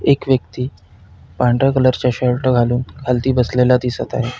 एक व्यक्ति पांढऱ्या कलरचा शर्ट घालून खालती बसलेला दिसत आहे.